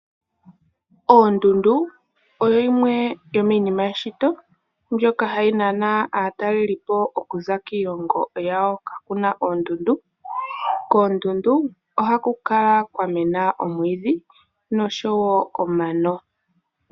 Oondundu odho dhimwe dhomiinima yeshito, mbyoka hayi nana aatalelipo okuza kiilongo yawo, kaakuna oondundu. Koondundu ohaku kala kwamena omwiidhi, noshowo omano.